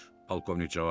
Polkovnik cavab verdi.